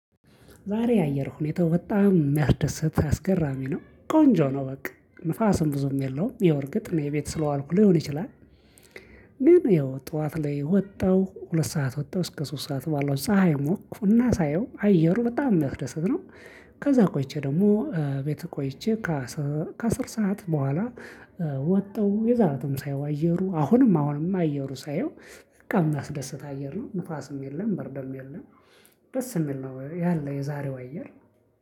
ዛሬ የአየር ሁኔታው በጣም ሚያስደስት አስገራሚ ነው ቆንጆ ነው በቃ ንፋስም ብዙም የለውም ይኸው እርግጥ እኔ ቤት ስለዋልኩ ሊሆን ይችላል። ጠዋት ላይ ወጣሁ ሁለት ሰዓት ወጣሁ እስከ ሶስት ሰዓት ባለው ፀሀይ ሞቅኩ እና ሳየው አየሩ በጣም ሚያስደስት ነው። ከዛ ቆይቼ ደግሞ ቤት ቆይቼ ከ አስር ከ አስር ሰዓት በኋላ። ወጣሁ የዛ ለትም ሳየው አየሩ አሁንም አሁንም አየሩ ሳየው በቃ የሚያስደስት አየር ነው ንፋስም የለም ብርድም የለም። ደስ የሚል ነው ያለ የዛሬው አየር።